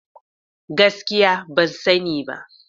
Gaskiya! Ban sani ba.